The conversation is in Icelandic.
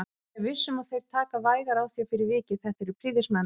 Ég er viss um að þeir taka vægar á þér fyrir vikið, þetta eru prýðismenn